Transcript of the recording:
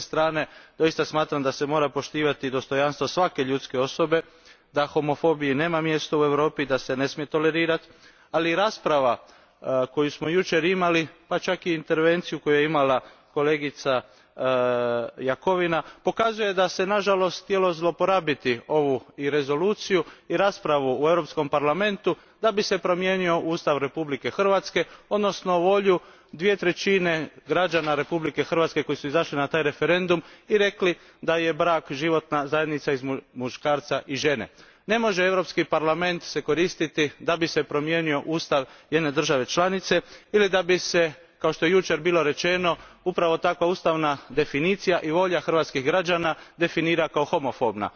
S jedne strane doista smatram da se mora poštivati dostojanstvo svake ljudske osobe, da homofobiji nema mjesto u Europi, da se ne smije tolerirati, ali rasprava koju smo jučer imali, pa čak i intervencija koju je imala kolegica Jakovina, pokazuje da se nažalost htjelo zloporabiti ovu i rezoluciju i raspravu u Europskom parlamentu da bi se promijenio Ustav Republike Hrvatske, odnosno volju dvije trećine građana Republike Hrvatske koji su izašli na taj referendum i rekli da je brak životna zajednica između muškarca i žene. Ne može se koristiti Europski parlament kako bi se promijenio ustav jedne države članice ili da bi se, kako je jučer bilo rečeno, upravo takva ustavna definicija i volja hrvatskih građana definirala kao homofobna.